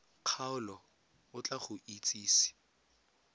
kgaolo o tla go itsise